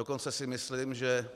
Dokonce si myslím, že